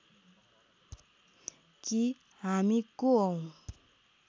कि हामी को हौं